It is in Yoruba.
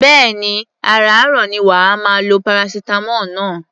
Bẹ́ẹ̀ni, àràáàrọ̀ ni wà á máa lo paracetamol náà.